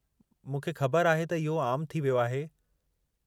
मूंखे ख़बर आहे त इहो आमु थी वियो आहे।